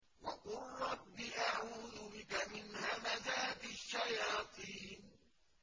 وَقُل رَّبِّ أَعُوذُ بِكَ مِنْ هَمَزَاتِ الشَّيَاطِينِ